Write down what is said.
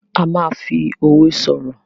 a ma fí òwe soro.